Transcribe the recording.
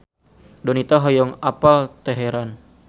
Donita hoyong apal Teheran